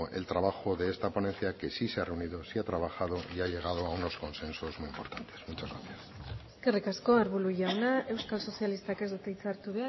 el trabajo de esta ponencia que sí se ha reunido sí ha trabajado y ha llegado a unos consensos muy importantes muchas gracias eskerrik asko arbulo jauna euskal sozialistak ez du hitza hartu